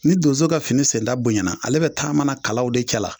Ni donso ka fini senda bonyana ale bɛ taamana kalaw de cɛla